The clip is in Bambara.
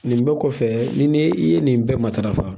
Nin bɛɛ kɔfɛ ni ne i ye nin bɛɛ matarafa